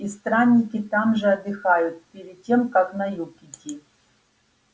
и странники там же отдыхают перед тем как на юг идти